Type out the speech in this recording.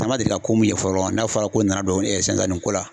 An ma deli ka ko min ye fɔlɔ n'a fɔra ko nana don ko la